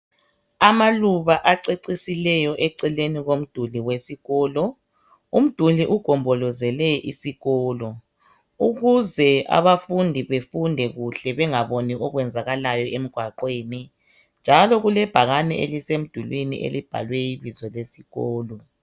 Amaluba acecisileyo eceleni komduli wesikolo. Umduli ugombolozele isikolo ukuze abafundi befunde kuhle bangaboni okwenzakalayo emgwaqweni njalo kulebhakani elisemdulini elibhalwe ibizo lesikolo.